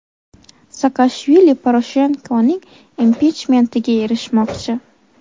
Saakashvili Poroshenkoning impichmentiga erishmoqchi.